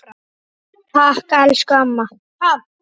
Takk, elsku amma.